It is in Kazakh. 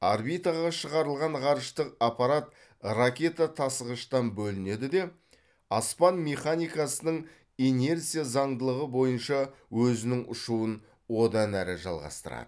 орбитаға шығарылған ғарыштық аппарат ракета тасығыштан бөлінеді де аспан механикасының инерция заңдылығы бойынша өзінің ұшуын одан әрі жалғастырады